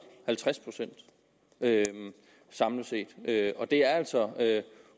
halvtreds procent samlet set og det er altså